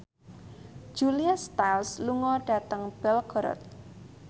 Julia Stiles lunga dhateng Belgorod